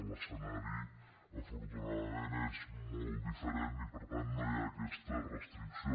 l’escenari afortunadament és molt diferent i per tant no hi ha aquesta restricció